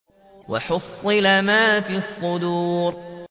وَحُصِّلَ مَا فِي الصُّدُورِ